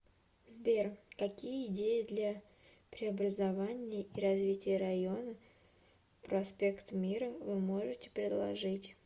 сбер какие идеи для преобразования и развития района проспект мира вы можете предложить